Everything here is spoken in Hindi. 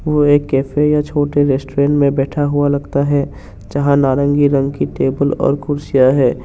कोई कैफ़े या छोटे रेस्टोरेंट में बैठा हुआ लगता है यहां नारंगी रंग की टेबल और कुर्सियां हैं।